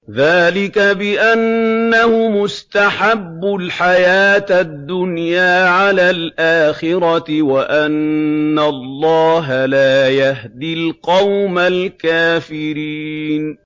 ذَٰلِكَ بِأَنَّهُمُ اسْتَحَبُّوا الْحَيَاةَ الدُّنْيَا عَلَى الْآخِرَةِ وَأَنَّ اللَّهَ لَا يَهْدِي الْقَوْمَ الْكَافِرِينَ